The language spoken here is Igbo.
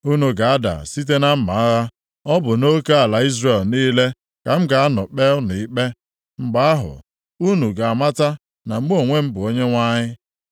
Unu ga-ada site na mma agha. Ọ bụ nʼoke ala Izrel niile ka m ga-anọ kpee unu ikpe. Mgbe ahụ, unu ga-amata na mụ onwe m bụ Onyenwe anyị.